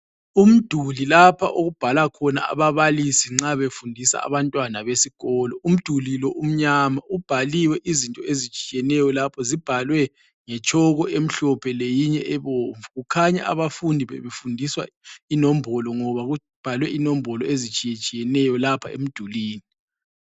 Umduli lapha okubhala khona ababalisi nxa befundisa abantwana besikolo. Umduli lo umnyama ubhaliwe izinto ezitshiyeneyo lapho zibhalwe ngetshoko emhlophe leyinye ebomvu, kukhanya abafundi bebefundiswa inombolo ngoba kubhalwe inombolo ezitshiyetshiyeneyo lapha emdulini.